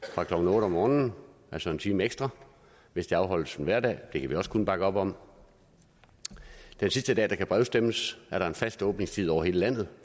fra klokken otte om morgenen altså en time ekstra hvis der afholdes en hverdag det kan vi også kun bakke op om den sidste dag der kan brevstemmes er der en fast åbningstid over hele landet